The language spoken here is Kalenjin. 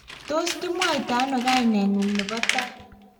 tos kimwaitano kaineng'ung' nebo tai?